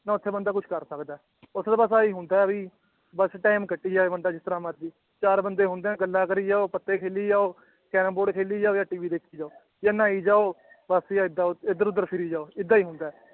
ਨਾ ਉੱਥੇ ਬੰਦਾ ਕੁਛ ਕਰ ਸਕਦਾ ਹੈ ਉੱਥੇ ਤਾਂ ਬਸ ਆਹੀ ਹੁੰਦਾ ਹੈ ਵੀ ਬਸ time ਕੱਟੀ ਜਾਏ ਬੰਦਾ ਜਿਸ ਤਰ੍ਹਾਂ ਮਰਜ਼ੀ ਚਾਰ ਬੰਦੇ ਹੁੰਦੇ ਹੈ ਗੱਲਾਂ ਕਰੀ ਜਾਓ, ਪੱਤੇ ਖੇਲੀ ਜਾਓ ਕੈਰਮ ਬੋਰਡ ਖੇਲੀ ਜਾ ਜਾਂ TV ਦੇਖੀ ਜਾਓ ਜਾਂ ਨਹਾਈ ਜਾਓ ਬਸ ਜਾਂ ਏਦਾਂ ਉ ਇੱਧਰ ਉੱਧਰ ਫਿਰੀ ਜਾਓ ਏਦਾਂ ਹੀ ਹੁੰਦਾ ਹੈ